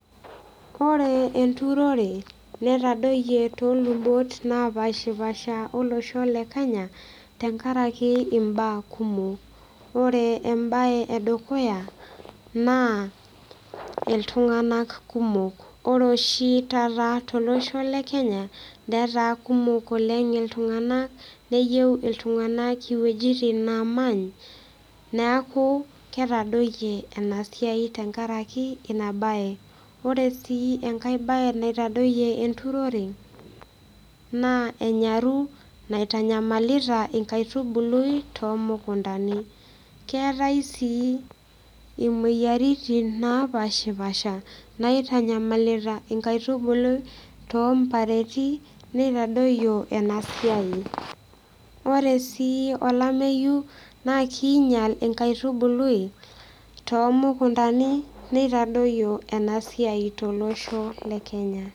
Ore enturore netadoyie tolubot napashipasha olosho le kenya tenkarake imbaa kumok ore embaye edukuya naa iltung'anak kumok ore oshi taata tolosho netaa kumok oleng iltung'anak neyieu iltung'anak iwuejitin naamany niaku ketadoyie ena siai tenkaraki ina baye ore sii enkae baye naitadoyie enturore naa enyaru naitanyamalita inkaitubului tomukuntani keetae sii imoyiaritin napashipasha naitanyamalita inkaitubului tompareti neitadoyio ena siai ore sii olameyu naa kinyial inkaitubului tomukuntani nitadoyio ena siai tolosho le kenya.